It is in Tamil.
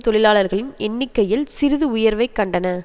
தொழிலாளர்களின் எண்ணிக்கையில் சிறிது உயர்வைக் கண்டன